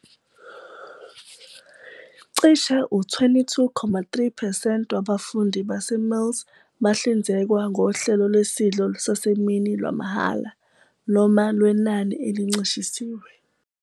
Cishe u-22.3 percent wabafundi baseMills bahlinzekwa ngohlelo lwesidlo sasemini lwamahhala noma lwenani elincishisiwe.